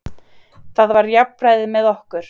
Það var jafnræði með okkur.